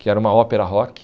que era uma ópera rock.